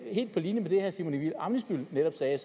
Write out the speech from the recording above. helt på linje med det herre simon emil ammitzbøll netop sagde